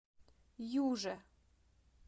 юже